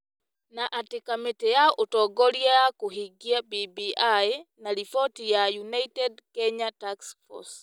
Na atĩ kamĩtĩ ya ũtongoria ya kũhingia BBI na riboti ya 'United Kenya Taskforce'